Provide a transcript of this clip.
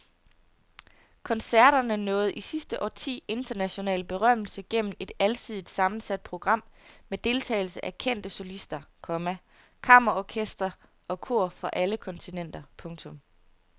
Koncerterne nåede i sidste årti international berømmelse gennem et alsidigt sammensat program med deltagelse af kendte solister, komma kammerorkestre og kor fra alle kontinenter. punktum